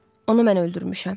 Onu mən öldürmüşəm.